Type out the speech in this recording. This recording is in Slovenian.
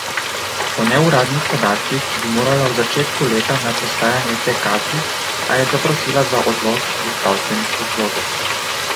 Po neuradnih podatkih bi morala v začetku leta na prestajanje te kazni, a je zaprosila za odlog iz zdravstvenih razlogov.